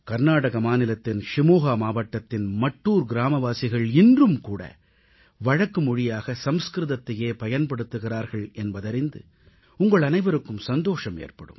கர்நாடக மாநிலத்தின் ஷிமோகா மாவட்டத்தின் மட்டூர் கிராமவாசிகள் இன்றும்கூட வழக்கு மொழியாக சமஸ்கிருதத்தையே பயன்படுத்துகிறார்கள் என்பதறிந்து உங்கள் அனைவருக்கும் சந்தோஷம் ஏற்படும்